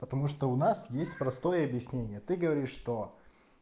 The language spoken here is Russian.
потому что у нас есть простое объяснение ты говоришь что